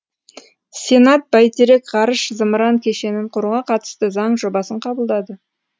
сенат бәйтерек ғарыш зымыран кешенін құруға қатысты заң жобасын қабылдады